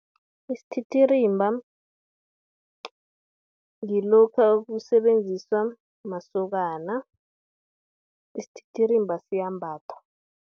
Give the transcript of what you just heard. Isititirimba ngilokha, okusebenziswa masokana, isititirimba siyambathwa.